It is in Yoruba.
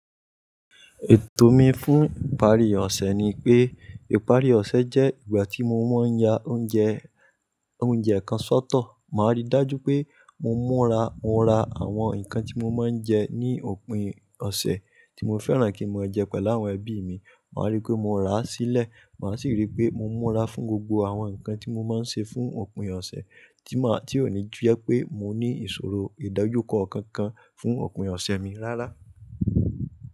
Ètò mi fún ìparí ọ̀sẹ̀ ni pé ìparí ọ̀sẹ̀ jẹ́ ìgbà tí mo máa ń ya oúnjẹ, oúnjẹ kan sọ́tọ̀. Màá rí i dájú pé mo múra, mo ra àwọn nǹkan tí mo máa ń jẹ ní òpin ọ̀sẹ̀ tí mo fẹ́ràn kí n mo jẹ pẹ̀lú àwọn ẹbí mi. Màá rí pé mo rà á sílẹ̀, màá sì rí pé mo múra fún gbogbo àwọn nǹkan tí mo máa ń ṣe fún òpin ọ̀sẹ̀ tí máa, tí òní jẹ́ pé mo ní ìṣòro ìdojukọ kan kan fún òpin ọ̀sẹ̀ mi rárá.